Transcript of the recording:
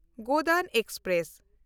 Godan express